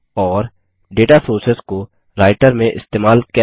और data sources को Writer में इस्तेमाल कैसे करें